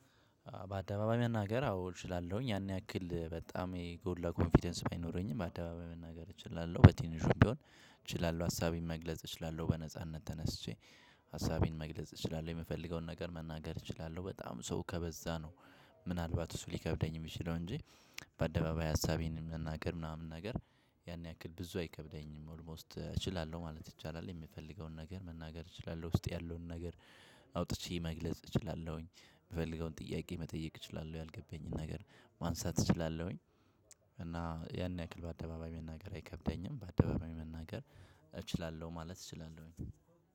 በአደባባይ መናገር አዎ እችላለሁኝ ያን ያክል በጣም የጎላ ለኮንፊደንስ ባይኖረኝም በአደባባይ መናገር እችላለሁ በትንሹ ቢሆን እችላለሁ አሳቢ መግለጽ እችላለሁ። በነጻነት ተነስቼ ሀሳቤን መግለጽ እችላለሁ የምፈልገውን ነገር መናገር እችላለሁ በጣም ሰው ከበዛ ነው። ምናልባት እሱ ሊከብደኝ የምችለው እንጂ በአደባባይ ሀሳቤን መናገር ምናምን ነገር ያን ያክል ብዙ አይከብደኝም ኦልሞስት እችላለሁ ማለት ይቻላል። የሚፈልገውን ነገር መናገር እችላለሁ ውስጥ ያለውን ነገር አውጥቼ መግለጽ እችላለሁኝ። ምፈልገውን ጥያቄ መጠየቅ እችላለሁ ያልገባኝን ነገር ማንሳት እችላለሁኝ። እና ያን ያክል በአደባባይ መናገር አይከብደኝም ባደባባይ መናገር እችላለሁ ማለት እችላለሁኝ።